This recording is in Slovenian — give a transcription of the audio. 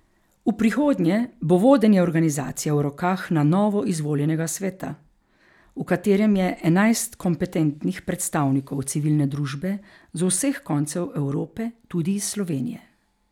V prihodnje bo vodenje organizacije v rokah na novo izvoljenega sveta, v katerem je enajst kompetentnih predstavnikov civilne družbe z vseh koncev Evrope, tudi iz Slovenije.